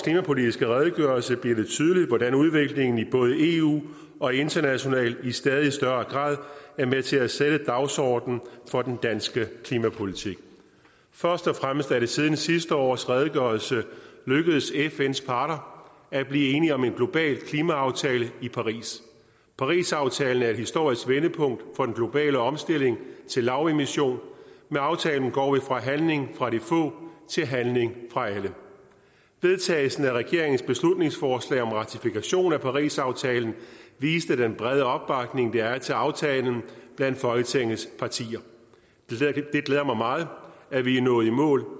klimapolitiske redegørelse bliver det tydeligt hvordan udviklingen i både eu og internationalt i stadig større grad er med til at sætte dagsordenen for den danske klimapolitik først og fremmest er det siden sidste års redegørelse lykkedes fns parter at blive enige om en global klimaaftale i paris parisaftalen er et historisk vendepunkt for den globale omstilling til lavemission med aftalen går vi fra handling fra de få til handling fra alle vedtagelsen af regeringens beslutningsforslag om ratifikation af parisaftalen viste den brede opbakning der er til aftalen blandt folketingets partier det glæder mig meget at vi er nået i mål